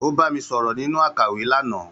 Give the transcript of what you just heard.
Ó bá mi sọ̀rọ̀ nínú àkàwé lánàá.